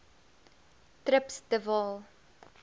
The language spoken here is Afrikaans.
trips de waal